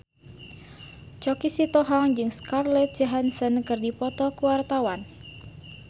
Choky Sitohang jeung Scarlett Johansson keur dipoto ku wartawan